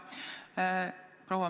Palun selgitage veel üks kord!